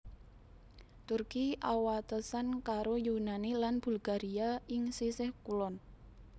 Turki awatesan karo Yunani lan Bulgaria ing sisih kulon